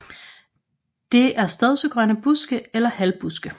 Det er stedsegrønne buske eller halvbuske